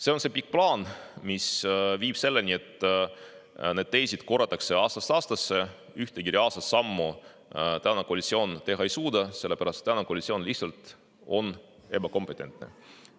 See on see pikk plaan, mis viib selleni, et neid teese korratakse aastast aastasse, aga ühtegi reaalset sammu koalitsioon teha ei suuda, sellepärast et tänane koalitsioon on lihtsalt ebakompetentne.